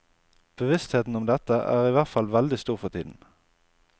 Bevisstheten om dette er i hvert fall veldig stor for tiden.